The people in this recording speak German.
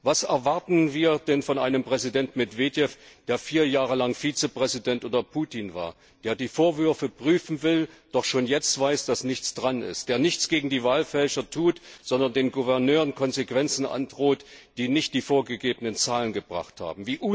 Was erwarten wir denn von einem Präsident Medwedew, der vier Jahre lang Vizepräsident unter Putin war, der die Vorwürfe prüfen will, doch schon jetzt weiß, dass nichts dran ist, der nichts gegen die Wahlfälscher tut, sondern den Gouverneuren Konsequenzen androht, die nicht die vorgegebenen Zahlen gebracht haben!